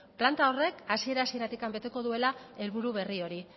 planta horrek hasiera hasieratik beteko duela helburu berri hori